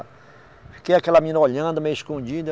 Fiquei aquela menina olhando, meio escondida.